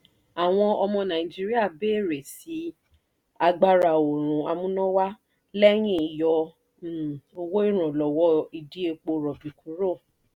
àwọn ọmọ nàìjíríà béèrè sí i agbára-oòrùn amúnáwá lẹ́yìn yọ um owó iranlowo ìdí epo rọ̀bì kúrò